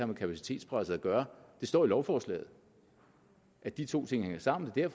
med kapacitetspresset at gøre det står i lovforslaget at de to ting hænger sammen det er